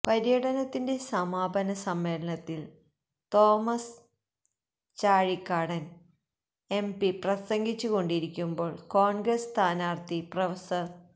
പര്യടനത്തിന്റെ സമാപന സമ്മേളനത്തില് തോമസ് ചാഴികാടന് എംപി പ്രസംഗിച്ചു കൊണ്ടിരിക്കുമ്പോൾ കോണ്ഗ്രസ് സ്ഥാനാര്ത്ഥി പ്രഫ